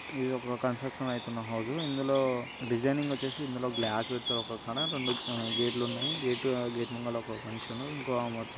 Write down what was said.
ఇదొక కన్స్ట్రక్షన్ అవుతున్న హోసు ఇందులో డిజైనింగ్ వచ్చేసి రెండు ఆహ్హ గేటులున్నాయి గేట్ గేట్ --